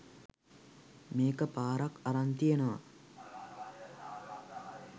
මේක පාරක් අරන් තියනව.